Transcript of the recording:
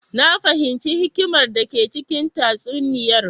Na fahimci hikimar dake cikin tatsuniyar.